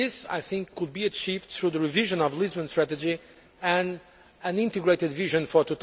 This, I think, could be achieved through the revision of the Lisbon strategy and an integrated vision for